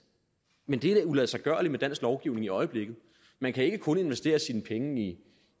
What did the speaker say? i men det er uladsiggørligt med dansk lovgivning i øjeblikket man kan ikke kun investere sine penge i